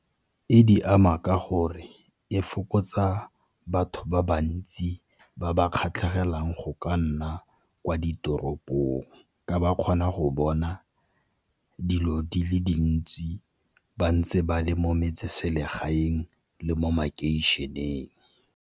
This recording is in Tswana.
E di ama ka gore e fokotsa batho ba bantsi ba ba kgatlhegelang go ka nna kwa ditoropong, ka ba kgona go bona dilo di le dintsi ba ntse ba le mo metseselegaeng le mo makeišeneng.